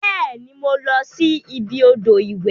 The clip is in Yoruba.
Beeni, mo losi ibi odo iwe.